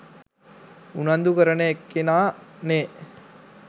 උනන්දු කරන එක්කෙනා නේ.